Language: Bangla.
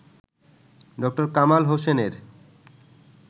ড. কামাল হোসেনের